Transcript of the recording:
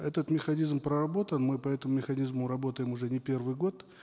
этот механизм проработан мы по этому механизму работаем уже не первый год